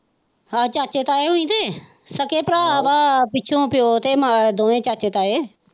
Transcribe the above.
ਆ ਚਾਚੇ ਤਾਏ ਹੋਏ ਤੇ ਸਕੇ ਭਰਾ ਦਾ ਪਿੱਛੋਂ ਪਿਓ ਤੇ ਮਾਂ ਦੋਵੇ ਚਾਚੇ ਤਾਏ।